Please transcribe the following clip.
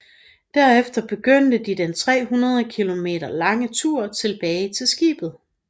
Derefter begyndte de den 300 km lange tur tilbage til skibet